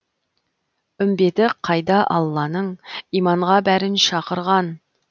үмбеті қайда алланың иманға бәрін шақырған